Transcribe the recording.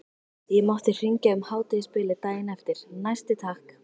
Ég mátti hringja um hádegisbilið daginn eftir, næsti takk!